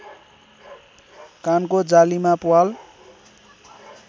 कानको जालीमा प्वाल